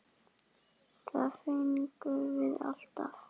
Það fengum við alltaf.